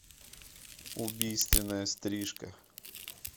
убийственная стрижка